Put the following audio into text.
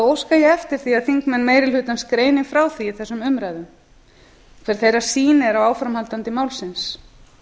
óska ég eftir því að þingmenn meiri hlutans greini frá því í þessum umræðum hver þeirra sýn er á áframhaldi málsins